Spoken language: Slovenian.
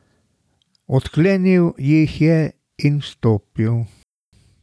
Odklenil jih je in vstopil.